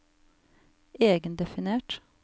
egendefinert